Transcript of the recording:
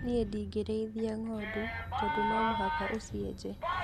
Niĩ ndingĩrĩitha ng'ondu tondũ nomũhaka ũcienje